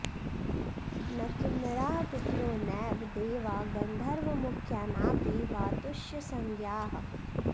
न किन्नराः पितरो नैव देवा गन्धर्वमुख्या नापि वा तुष्यसंज्ञाः